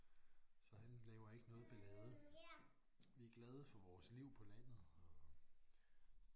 Så han laver ikke noget ballade. Vi er glade for vores liv på landet og